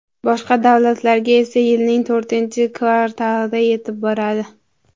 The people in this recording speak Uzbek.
Boshqa davlatlarga esa yilning to‘rtinchi kvartalida yetib boradi.